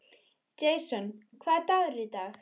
Jason, hvaða dagur er í dag?